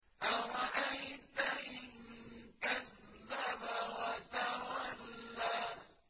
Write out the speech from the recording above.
أَرَأَيْتَ إِن كَذَّبَ وَتَوَلَّىٰ